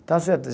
Está certo.